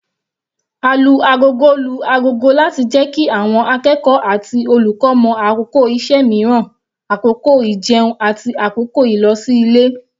Alu-agogo lu ago láti jẹ́ kí àwọn akẹ́kọ̀ọ́ àti olùkọ́ mọ̀ àkókò iṣẹ́ mìíràn, àkókò ijẹun, àti àkókò ìlosí-ilé.